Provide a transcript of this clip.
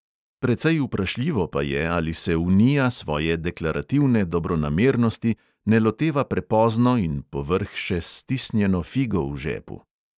Precej vprašljivo pa je, ali se unija svoje deklarativne dobronamernosti ne loteva prepozno in povrh še s stisnjeno figo v žepu.